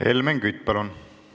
Helmen Kütt, palun!